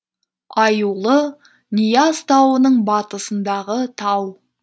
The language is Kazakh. аюлы нияз тауының батысындағы тау